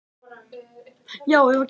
Heimir Már: Er það nóg?